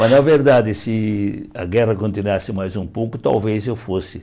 Mas, na verdade, se a guerra continuasse mais um pouco, talvez eu fosse.